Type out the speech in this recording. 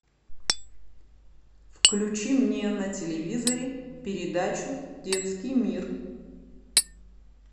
включи мне на телевизоре передачу детский мир